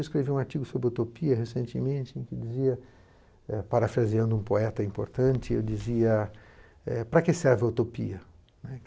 Eu escrevi um artigo sobre a utopia recentemente, em que dizia, parafraseando um poeta importante, eu dizia, para que serve a utopia?